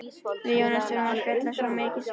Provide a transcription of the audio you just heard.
Við Jónas þurftum að spjalla svo mikið saman.